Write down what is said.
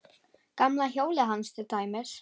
Gamla hjólið hans til dæmis.